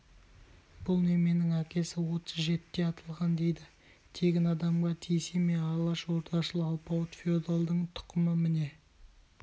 бұл неменің әкесі отыз жетіде атылған дейді тегін адамға тиісе ме алашордашыл алпауыт феодалдың тұқымы міне